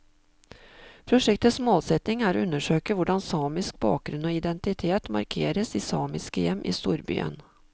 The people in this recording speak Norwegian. Prosjektets målsetning er å undersøke hvordan samisk bakgrunn og identitet markeres i samiske hjem i storbyen.